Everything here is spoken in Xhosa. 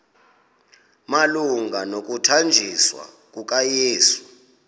malunga nokuthanjiswa kukayesu